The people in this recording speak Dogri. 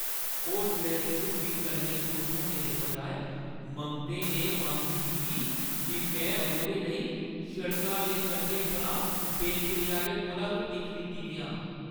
होटलै दी रुट्टी कन्नै खुश होने दे बजाए, मंगते ने मंग कीती जे में ओह्दे लेई सड़का दे कंढे पर बेचने आह्‌ले कोला रुट्टी खरीदी देआं।